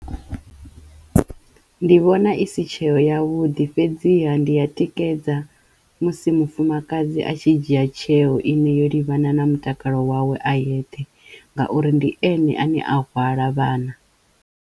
Ndi vhona i si tsheo yavhuḓi fhedziha ndi ya tikedza musi mufumakadzi a tshi dzhia tsheo ine yo livhana na mutakalo wawe a yeṱhe ngauri ndi ene ane a hwala vhana.